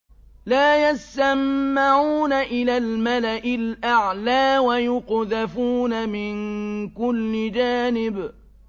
لَّا يَسَّمَّعُونَ إِلَى الْمَلَإِ الْأَعْلَىٰ وَيُقْذَفُونَ مِن كُلِّ جَانِبٍ